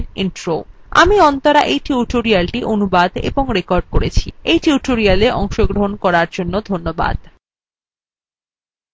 আমি অন্তরা এই tutorialটি অনুবাদ এবং রেকর্ড করেছি